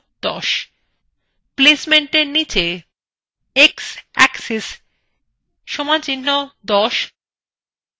placementএর নিচে x axis = ১০